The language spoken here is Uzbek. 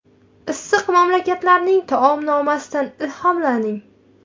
Issiq mamlakatlarning taomnomasidan ilhomlaning.